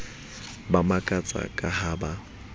ba makatsa ka ha ba